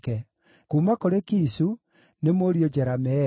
Kuuma kũrĩ Kishu: nĩ mũriũ Jerameeli.